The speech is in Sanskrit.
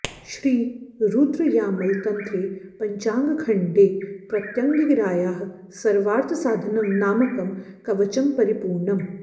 श्री रुद्रयामल तन्त्रे पञ्चाङ्गखण्डे प्रत्यङ्गिरायाः सर्वार्थसाधनं नामकं कवचं परिपूर्णम्